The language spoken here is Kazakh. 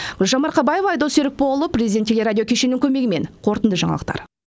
гүлжан марқабаева айдос серікболұлы президент телерадио кешіні көмегімен қорытынды жаңалықтар